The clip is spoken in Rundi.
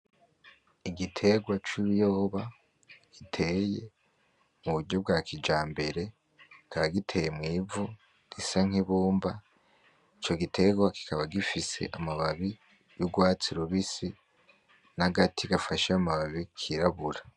Igiterwa c’ ibiyoba giteye muburyo bwa kijambere kikaba giteye mwivu risa nk' ibumba ico giterwa kikaba gifise amababi y'urwatsi rubisi nagati gafashe amababi kirabura.